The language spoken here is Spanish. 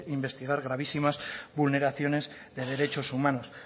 investigar gravísimas vulneraciones de derechos humanos